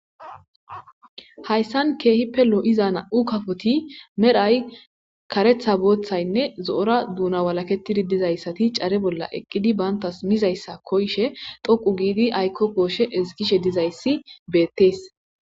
hayssan keehippe loo7iza na7u kafoti merhay karetha booththaynne zo7ora duuna walaketidi dizayssati care bolla eqqidi baantas mizayssa koyshe toqu giidi ayko kooshe esgishe dizayssi beettees